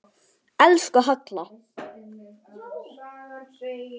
Elsku Halla.